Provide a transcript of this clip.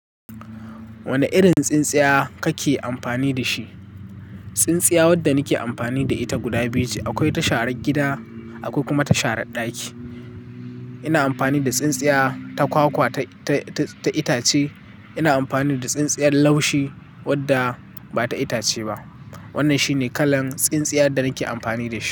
Wane irin tsintsiya kake amfani da shi? Tsintsiya wadda nike amfani da ita guda biyu ce akwai ta sharan gida, akwai kuma ta shara ɗaki. Ina amfani da tsintsiya ta kwakwa ta, ta, ta itace. Ina amfani da tsintsiyar laushi wadda ba ta itace ba. Wannan shine kalar tsintsiyar da nake amfani da shi.